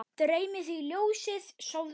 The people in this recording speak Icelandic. Dreymi þig ljósið, sofðu rótt